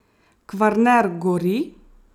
Kvarner gori!